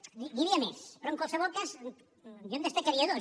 n’hi havia més però en qualsevol cas jo en destacaria dos